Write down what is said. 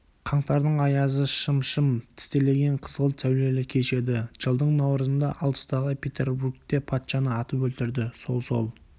қаңтардың аязы шым-шым тістелеген қызғылт сәулелі кеш еді жылдың наурызында алыстағы петербургте патшаны атып өлтірді сол-сол